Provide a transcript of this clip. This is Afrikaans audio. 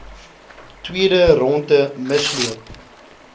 tweede rondte misloop